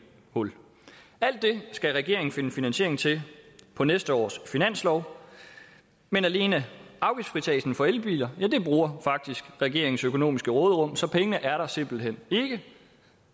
hul alt det skal regeringen finde finansiering til på næste års finanslov men alene afgiftsfritagelsen for elbiler bruger faktisk regeringens økonomiske råderum så pengene er der simpelt hen ikke